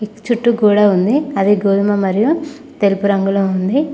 చుట్టూ గోడ ఉంది అది గోధుమ మరియు తెలుపు రంగులో ఉంది.